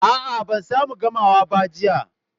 A, a, ban samu gamawa ba, jiya.